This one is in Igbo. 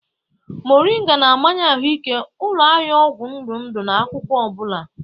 Moringa na-amanye ahụike, ụlọ ahịa ọgwụ ndụ ndụ na akwụkwọ ọ bụla.